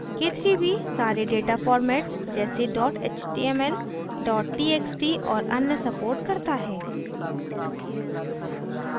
k3b सारे data formats जैसे html txt और अन्य supports करता है